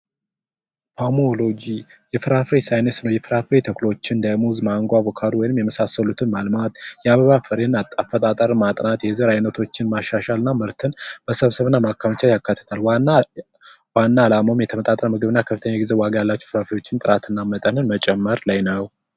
የፍራፍሬ ሳይንስ ነው የፍራፍሬ ተክሎችን እንደ ሙዝ ማንጎ ወይም አቮካዶ የመሳሰሉትን ማልማት የአበባ ፍሬን አፈጣጠር ማጥናት የተለያዩ ዘሮች ማሻሻልና ምርትን ማከማቸት ያካትታል ዋና አላማውም የተመጣጠነ ምግብን ከፍተኛ የፕሮቲን ይዘት ያላቸውን ምግቦች መጨመር ላይ ነው።